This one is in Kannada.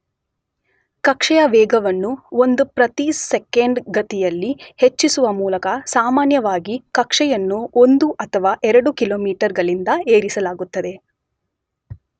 ಕಕ್ಷೆಯ ವೇಗವನ್ನು 1 ಪ್ರತಿ ಸೆಕೆಂಡ್ ಗತಿಯಲ್ಲಿ ಹೆಚ್ಚಿಸುವ ಮೂಲಕ ಸಾಮಾನ್ಯವಾಗಿ ಕಕ್ಷೆಯನ್ನು ಒಂದು ಅಥವಾ ಎರಡು ಕಿಲೋಮೀಟರ್ ಗಳಿಂದ ಏರಿಸಲಾಗುತ್ತದೆ.